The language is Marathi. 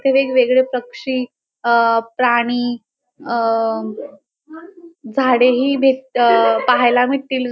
वेगवेगळे पक्षी अ प्राणी अ झाडे ही भेट पाहायला भेटतील.